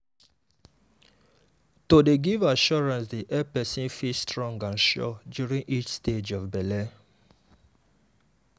to dey give assurance dey help person feel strong and sure during each stage of belle.